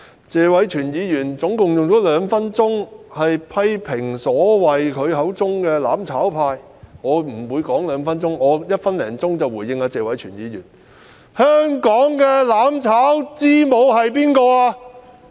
謝偉銓議員合共花了兩分鐘批評他口中所謂的"攬炒派"，我不會用兩分鐘時間回應，只需一分多鐘已經足夠。